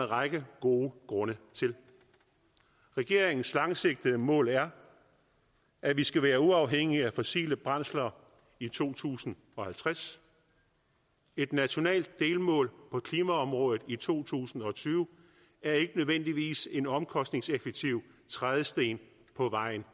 række gode grunde til regeringens langsigtede mål er at vi skal være uafhængige af fossile brændsler i to tusind og halvtreds et nationalt delmål på klimaområdet i to tusind og tyve er ikke nødvendigvis en omkostningseffektiv trædesten på vejen